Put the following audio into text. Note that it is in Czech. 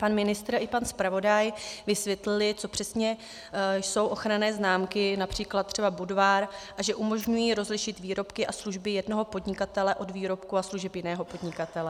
Pan ministr i pan zpravodaj vysvětlili, co přesně jsou ochranné známky, například třeba Budvar, a že umožňují rozlišit výrobky a služby jednoho podnikatele od výrobků a služeb jiného podnikatele.